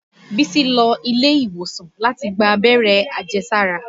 Bísí lọ ilé-ìwòsàn láti gbá abẹ́rẹ́ àjẹsára